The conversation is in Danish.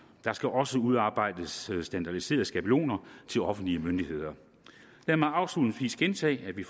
der skal også udarbejdes standardiserede skabeloner til offentlige myndigheder lad mig afslutningsvis gentage at vi